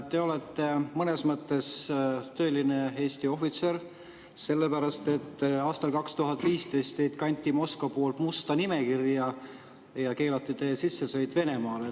Te olete mõnes mõttes tõeline Eesti ohvitser, sellepärast et aastal 2015 kanti teid Moskva poolt musta nimekirja ja keelati teie sissesõit Venemaale.